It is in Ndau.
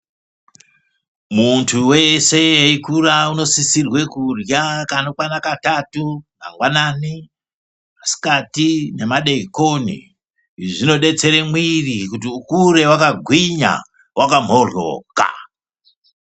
Muntu wese eikura unosisire kurya kanokwana katatu. Mangwanani, masikati nemadeikoni. Izvi zvinodetsere mwiri kuti ukure wakagwinya wakamhoryoka.